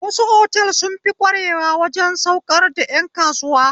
Wasu otal sunfi ƙware waje saukar da ƴan kasuwa